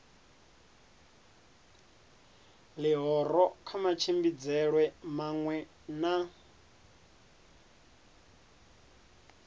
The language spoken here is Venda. ḽihoro kha matshimbidzelwe maṅwe na